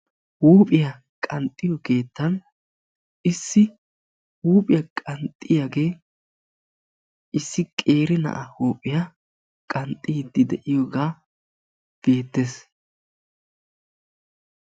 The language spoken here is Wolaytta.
Huuphiya qanxxiyo keettan issi huuphiya qanxxiyagee issi qeeri na"aa huuphiya qanxxiiddi de"iyogaa beettes